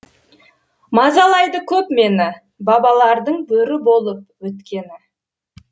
мазалайды көп мені бабалардың бөрі болып өткені